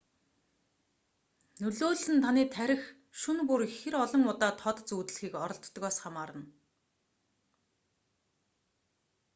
нөлөөлөл нь таны тархи шөнө бүр хэр олон удаа тод зүүдлэхийг оролддогоос хамаарна